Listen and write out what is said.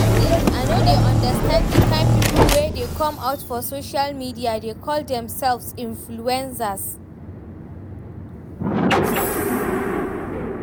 Dis days I no dey understand the kyn people wey dey come out for social media dey call themselves influencers